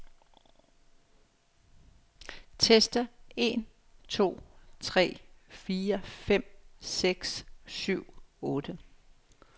Tester en to tre fire fem seks syv otte.